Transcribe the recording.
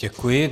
Děkuji.